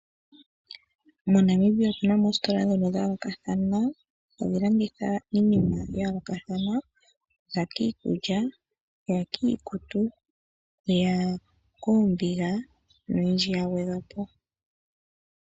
MoNamibia otu na mo oositola ndhono dhayoolokathana hadhi landitha iinima ya yoolokathana ngaashi iikulya, iikutu, oombiga noyindji ya gwedhwa po.